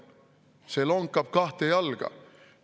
See lonkab kahte jalga.